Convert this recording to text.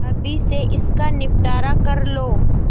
अभी से इसका निपटारा कर लो